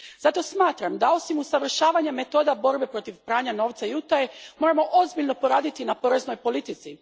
Zato smatram da, osim usavršavanja metoda borbe protiv pranja novca i utaje, moramo ozbiljno poraditi na poreznoj politici.